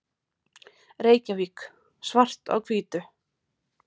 Reykjavík: Svart á hvítu.